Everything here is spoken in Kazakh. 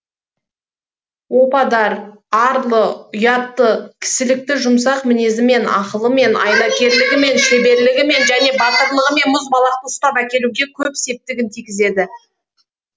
опадар арлы ұятты кісілікті жұмсақ мінезімен ақылымен айлакерлігімен шеберлігімен және батырлығымен мұзбалақты ұстап әкелуге көп септігін тигізеді